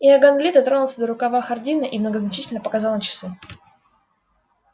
иоганн ли дотронулся до рукава хардина и многозначительно показал на часы